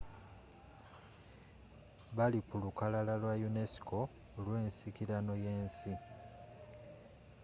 bali ku lukalala lwa unesco olw'ensikirano y'ensi